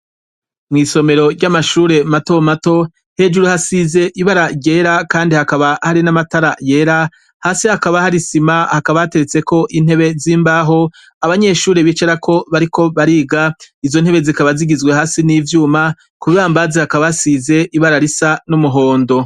Mwisomero ry’amashure mato mato hasize ibara ryera kandi hakaba hari namatara yera hasi hakaba hari isima hakaba hateretseko intebe z’imbaho abanyeshure bicarako bariko bariga izo ntebe zikaba zigizwe hasi n’ivyuma kukihambazi hakaba hasize ibara risa n’umuhondo